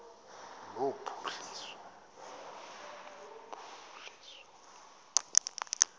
lophuhliso